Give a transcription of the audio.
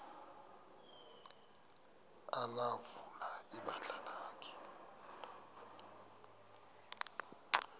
ulawula ibandla lakhe